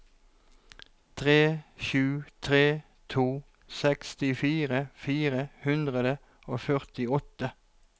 tre sju tre to sekstifire fire hundre og førtiåtte